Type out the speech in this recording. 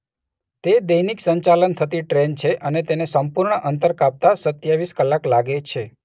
તે દૈનિક સંચાલન થતી ટ્રેન છે અને તેને સંપૂર્ણ અંતર કાપતાં સત્યાવીસ કલાક લાગે છે.